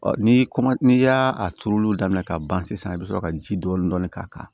ni kɔma n'i y'a turuli daminɛ k'a ban sisan i bɛ sɔrɔ ka ji dɔɔni dɔɔni k'a kan